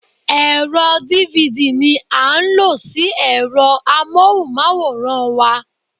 Ẹ̀rọ dívidì ní a ń lo sí ẹ̀rọ amóhùnmáwòrán wa.